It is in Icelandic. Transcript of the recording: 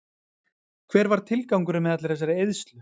Hver var tilgangurinn með allri þessari eyðslu?